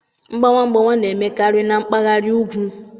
Mgbawa mgbawa na-emekarị na mpaghara ugwu.